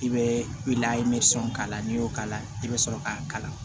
I bɛ layi k'a la n'i y'o k'a la i bɛ sɔrɔ k'a kala